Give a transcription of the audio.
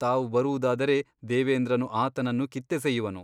ತಾವು ಬರುವುದಾದರೆ ದೇವೇಂದ್ರನು ಆತನನ್ನು ಕಿತ್ತೆಸೆಯುವನು.